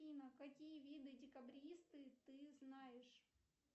афина какие виды декабристы ты знаешь